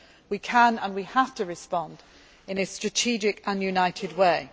get in our way. We can and we have to respond in a strategic